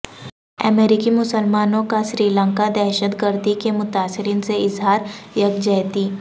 امریکی مسلمانوں کا سری لنکا دہشتگردی کے متاثرین سے اظہار یکجہتی